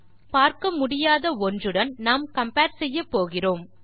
ஆகவே பார்க்க முடியாத ஒன்றுடன் நாம் கம்பேர் செய்கிறோம்